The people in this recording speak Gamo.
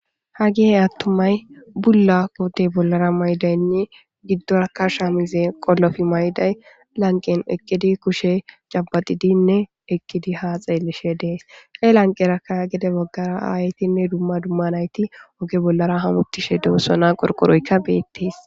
Hagey attumay,bulla koote bollara mayidaynne giddoraka shamize qollofi mayiday lanqen eqqiday be kushe cabaxidinne ha xeellishe dees. He baggaranne ha lanqera aayetinne dumma dumma nayti oge bolla hametishe doosona. Qorqoroyka beetees.